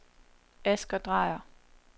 Asger Dreyer